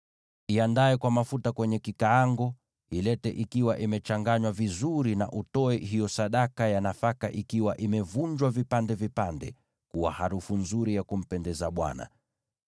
Iandae kwa mafuta kwenye kikaango; ilete ikiwa imechanganywa vizuri, na utoe hiyo sadaka ya nafaka ikiwa imevunjwa vipande vipande kuwa harufu nzuri ya kumpendeza Bwana .